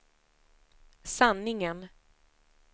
sanningen